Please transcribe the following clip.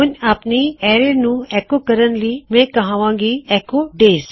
ਹੁਣ ਮੈਂ ਐੱਕੋ ਕਹਿਣ ਜਾ ਰਿਹਾਂ ਆਪਣੇ ਅਰੈਜ਼ ਨੂੰ ਐੱਕੋ ਕਰਨ ਲਈ